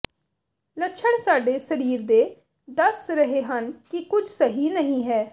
ਲੱਛਣ ਸਾਡੇ ਸਰੀਰ ਦੇ ਦੱਸ ਰਹੇ ਹਨ ਕਿ ਕੁਝ ਸਹੀ ਨਹੀਂ ਹੈ